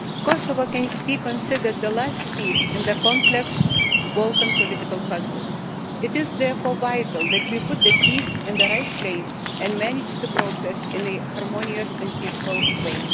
Kosovo can be considered the last piece in the complex Balkan political puzzle. It is therefore vital that we put the piece in the right place and manage the process in a harmonious and peaceful way.